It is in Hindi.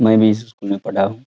मैं भी इस स्कूल में पढ़ा हूँ।